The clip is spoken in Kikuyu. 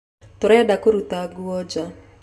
Tũrenda kũruta nguo nja